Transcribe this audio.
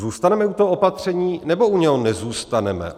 Zůstaneme u toho opatření, nebo u něj nezůstaneme?